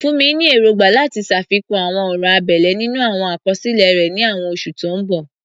Funmi ní èrògbà láti ṣàfikún àwọn ọ̀rọ̀ abẹ́lẹ̀ nínú àwọn àkọsílẹ̀ rẹ̀ ní àwọn oṣù tó ń bọ̀.